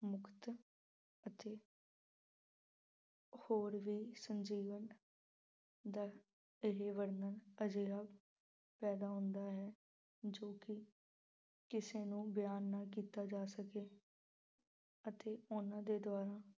ਹੋਰ ਵੀ ਸੰਜੀਵਨ ਦਾ ਵਰਣਨ ਅਜਿਹਾ ਪੈਦਾ ਹੁੰਦਾ ਹੈ ਜੋ ਕਿ ਕਿਸੇ ਨੂੰ ਬਿਆਨ ਨਾ ਕੀਤਾ ਜਾ ਸਕੇ ਅਤੇ ਉਹਨਾਂ ਦੇ ਦੁਆਰਾ